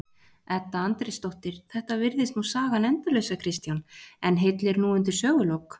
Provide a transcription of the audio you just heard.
Edda Andrésdóttir: Þetta virðist nú sagan endalausa Kristján en hyllir nú undir sögulok?